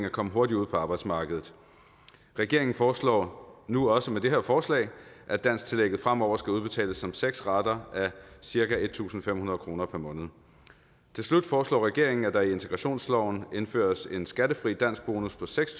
at komme hurtigere ud på arbejdsmarkedet regeringen foreslår nu også med det her forslag at dansktillægget fremover skal udbetales som seks rater på cirka en tusind fem hundrede kroner per måned til slut foreslår regeringen at der i integrationsloven indføres en skattefri danskbonus på seks